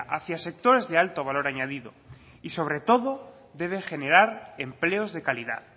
hacia sectores de alto valor añadido y sobre todo deben generar empleos de calidad